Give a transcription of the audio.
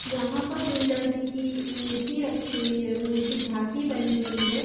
यहाँ पर दुर्गा जी की मूर्ति रखी हुई है मूर्ति झांकी बनी हुई है।